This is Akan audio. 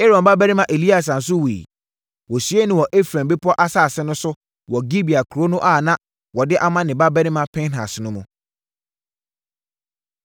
Aaron babarima Eleasa nso wuiɛ. Wɔsiee no wɔ Efraim bepɔ asase no so wɔ Gibea kuro no a na wɔde ama ne babarima Pinehas no mu.